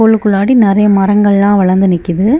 உள்ளுக்குள்ளாடி நிறைய மரங்கள் எல்லா வளர்ந்து நிக்குது.